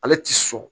Ale ti sɔn